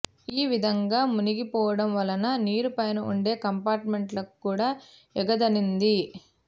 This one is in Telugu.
ఈ విధంగా మునిగిపోవడం వలన నీరు పైన ఉండే కంపార్ట్మెంట్లకు కూడా ఎగదన్నింది